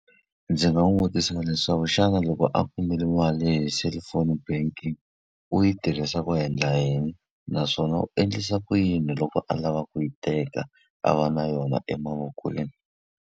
Ndzi nga n'wi vutisa leswaku xana loko a mali hi cellphone banking u yi tirhisa ku endla yini? Naswona u endlisa ku yini loko a lava ku yi teka, a va na yona emavokweni.